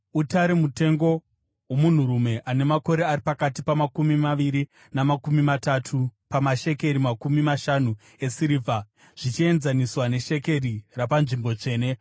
utare mutengo womunhurume ane makore ari pakati pamakumi maviri namakumi matanhatu pamashekeri makumi mashanu esirivha, zvichienzaniswa neshekeri rapanzvimbo tsvene ;